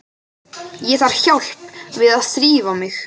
Ég þarf hjálp við að þrífa mig.